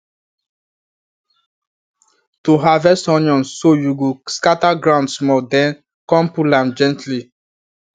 to harvest onion so you go scatter ground small then come pull am gently